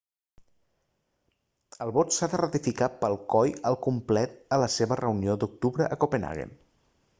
el vot s'ha de ratificar pel coi al complet a la seva reunió d'octubre a copenhagen